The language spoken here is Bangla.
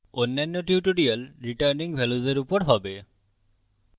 অন্যান্য tutorial ফেরত পাওয়া মান অর্থাত রিটার্নিং ভাল্য়ুস এর উপর হবে